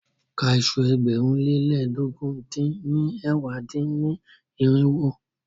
Ka iṣu ẹgbẹ̀rún lé lẹ́ẹdógún dín ní ẹ̀wá dín-ní-irinwó!